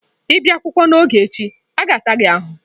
Ị bịa akwụkwọ n'oge echi, a ga-ata gị ahụhụ.